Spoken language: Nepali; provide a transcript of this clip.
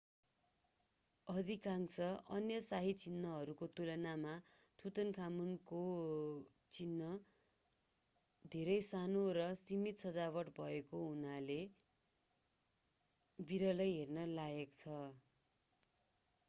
अधिकांश अन्य शाही चिहानहरूको तुलनामा तुतानखामुनको चिहान धेरै सानो र सीमित सजावट भएको हुनाले यो विरलै हेर्न लायक छ